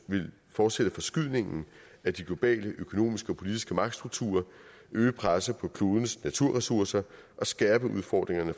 vil fortsætte forskydningen af de globale økonomiske og politiske magtstrukturer øge presset på klodens naturressourcer og skærpe udfordringerne